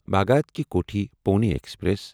Bhagat ki Kothi Pune express